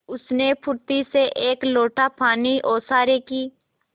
उसने फुर्ती से एक लोटा पानी ओसारे की